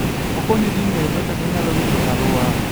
Okonyo ji ng'eyo kaka ginyalo rito alwora.